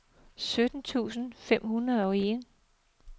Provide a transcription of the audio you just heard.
sytten tusind fem hundrede og en